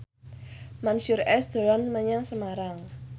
Mansyur S dolan menyang Semarang